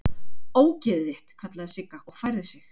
Ógeðið þitt!! kallaði Sigga og færði sig.